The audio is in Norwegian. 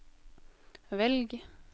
velg